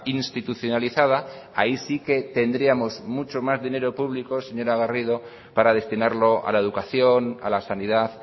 institucionalizada ahí sí que tendríamos mucho más dinero público señora garrido para destinarlo a la educación a la sanidad